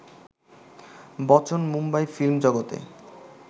Bachchan Mumbai film জগতে